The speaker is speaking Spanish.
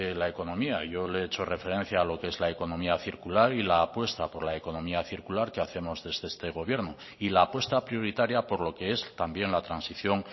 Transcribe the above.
la economía yo le he hecho referencia a lo qué es la economía circular y la apuesta por la economía circular que hacemos desde este gobierno y la apuesta prioritaria por lo que es también la transición